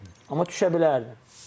Amma düşə bilərdim.